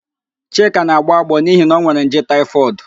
Chika na-agbọ agbọọ n'ihi na onwere nje taịfọdụ